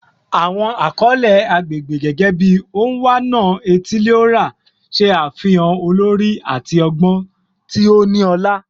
Awọn akọle agbegbe, gẹgẹbi "Onwa-na-etili-ora," ṣe afihan olori ati ọgbọn ti o ni ọla.